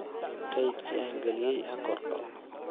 kaydkii aan galiyay ha kordho